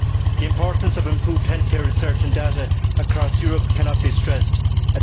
The importance of improved healthcare research and data across Europe cannot be stressed enough.